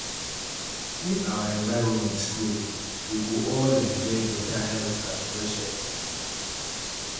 if our environment clean we go all enjoy beta health and fresh air